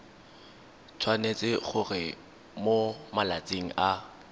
tshwanetse gore mo malatsing a